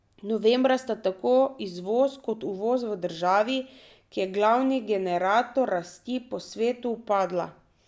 Novembra sta tako izvoz kot uvoz v državi, ki je glavni generator rasti po svetu, upadla.